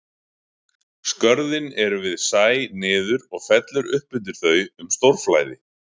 Skörðin eru við sæ niður og fellur upp undir þau um stórflæði.